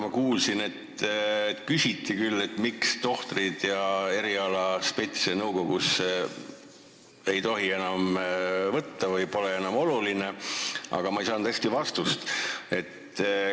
Ma kuulsin, et küsiti küll, miks tohtreid ja erialaspetse nõukogusse enam võtta ei tohi või miks pole see enam oluline, aga ma ei saanud hästi vastust.